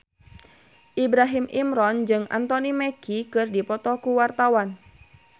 Ibrahim Imran jeung Anthony Mackie keur dipoto ku wartawan